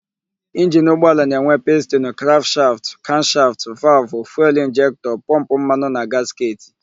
Injini ụgbọala na-enwe: pistinu, krankshaftụ, kamshaftụ, valụvụ, fuelu injektọ, pọmpụ mmanụ na gasketị.